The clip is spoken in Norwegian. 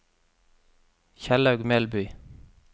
Kjellaug Melby